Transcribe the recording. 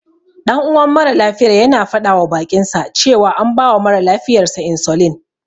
Ɗan uwan mara lafiyar yana faɗawa baƙinsa cewa an bawa mara lafiyar sa insulin.